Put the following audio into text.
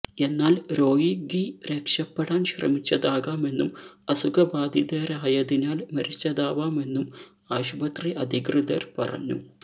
എന്നാല് രോഗി രക്ഷപ്പെടാന് ശ്രമിച്ചതാകാമെന്നും അസുഖബാധിതരനായതിനാല് മരിച്ചതാവാമെന്നും ആശുപത്രി അധികൃതര് പറഞ്ഞു